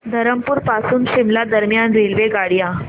धरमपुर पासून शिमला दरम्यान रेल्वेगाड्या